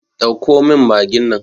Ɗauko min magin nan!